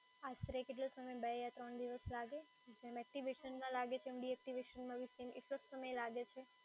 આશરે કેટલો સમય બે યા ત્રણ દિવસ લાગે? જેમ એક્ટિવેશનમાં લાગે છે, એમ ડીએક્ટિવેશનમાં બી same એટલો જ સમય લાગે છે?